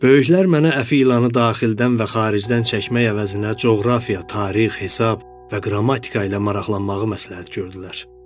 Böyüklər mənə əfi ilanı daxildən və xaricdən çəkmək əvəzinə coğrafiya, tarix, hesab və qrammatika ilə maraqlanmağı məsləhət gördülər.